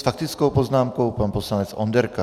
S faktickou poznámkou pan poslanec Onderka.